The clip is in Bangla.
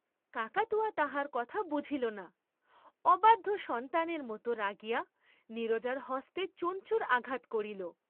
কাকাতুয়া তাহার কথা বুঝিল না, অবাধ্য সন্তানের মত রাগিয়া নীরজার হস্তে চঞ্চুর আঘাত করিল।